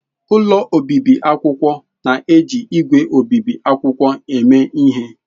Ụlọ obibi akwụkwọ na-eji ígwè obibi akwụkwọ eme ihe.